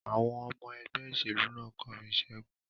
Àwọn ọmọ ẹgbẹ́ ìṣèlú náà kọrin ìṣẹ́gun.